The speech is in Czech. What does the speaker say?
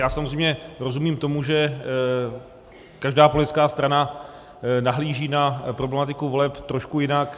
Já samozřejmě rozumím tomu, že každá politická strana nahlíží na problematiku voleb trošku jinak.